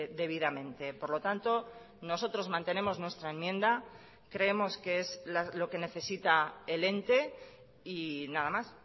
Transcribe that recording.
debidamente por lo tanto nosotros mantenemos nuestra enmienda creemos que es lo que necesita el ente y nada más